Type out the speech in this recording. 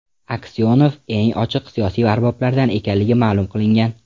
Aksyonov eng ochiq siyosiy arboblardan ekanligi ma’lum qilingan.